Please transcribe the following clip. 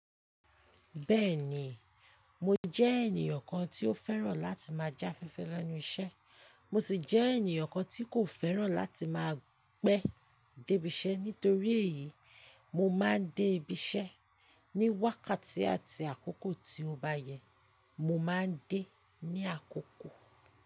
Bẹ́ẹ̀ni, mo jẹ́ ènìyàn kan tí ó fẹ́ràn láti máa já fífẹ́ lẹ́nu iṣẹ́, mo sì jẹ́ ènìyàn kan tí kò fẹ́ràn láti máa pẹ́ dé ibiṣẹ́. Nítorí èyí, mo máa ń dé ibiṣẹ́ ní wákàtí àti àkókò tí mo bá yẹ. Mo máa ń dé ní àkókò.